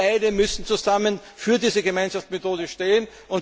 Wir beide müssen zusammen für diese Gemeinschaftsmethode stehen.